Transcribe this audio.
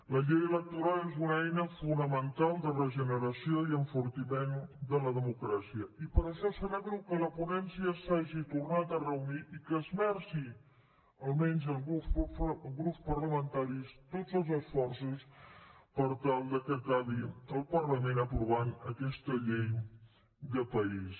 la llei electoral és una eina fonamental de regeneració i enfortiment de la democràcia i per això celebro que la ponència s’hagi tornat a reunir i que esmerci almenys alguns grups parlamentaris tots els esforços per tal que acabi el parlament aprovant aquesta llei de país